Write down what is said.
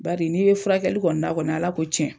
Bari n'i ye furakɛli kɔni na kɔni Ala ko tiɲɛ